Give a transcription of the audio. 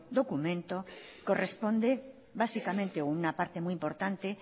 documento corresponde básicamente o una parte muy importante